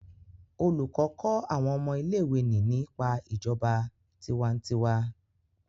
olùkó kó awọn ọmọ ilé ìwé ní nípa ìjọba tiwantiwa